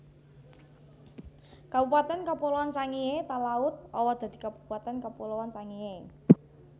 Kabupatèn Kapuloan Sangihe Talaud owah dadi Kabupatèn Kapuloan Sangihe